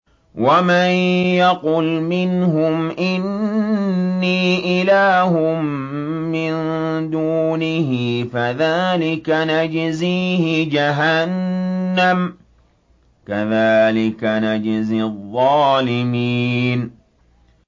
۞ وَمَن يَقُلْ مِنْهُمْ إِنِّي إِلَٰهٌ مِّن دُونِهِ فَذَٰلِكَ نَجْزِيهِ جَهَنَّمَ ۚ كَذَٰلِكَ نَجْزِي الظَّالِمِينَ